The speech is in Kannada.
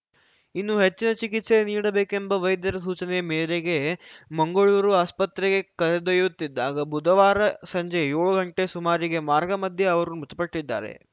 ಇನ್ನೂ ಹೆಚ್ಚಿನ ಚಿಕಿತ್ಸೆ ನೀಡಬೇಕೆಂಬ ವೈದ್ಯರ ಸೂಚನೆ ಮೇರೆಗೆ ಮಂಗಳೂರು ಆಸ್ಪತ್ರೆಗೆ ಕರೆದೊಯ್ಯತ್ತಿದ್ದಾಗ ಬುಧವಾರ ಸಂಜೆ ಯೋಳು ಗಂಟೆ ಸುಮಾರಿಗೆ ಮಾರ್ಗ ಮಧ್ಯೆ ಅವರು ಮೃತಪಟ್ಟಿದ್ದಾರೆ